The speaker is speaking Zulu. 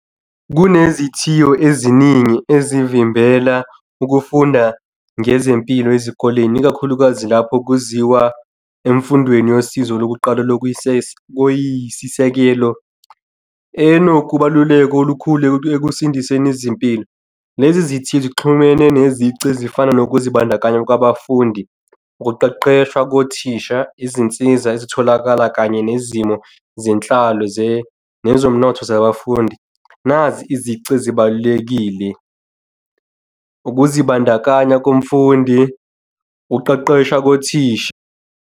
Kunezithiyo eziningi ezivimbela ukufunda ngezempilo ezikoleni, ikakhulukazi lapho kuziwa emfundweni yosizo lokuqala lokuyisisekelo enokubaluleka okukhulu ekusindiseni izimpilo lezi zithi zixhumene nezici ezifana nokuzibandakanya kwabafundi, ukuqeqeshwa kothisha, izinsiza ezitholakala kanye nezimo zenhlalo nezomnotho zabafundi. Nazi izici ezibalulekile. Ukuzibandakanya komfundi, ukuqeqeshwa kothisha.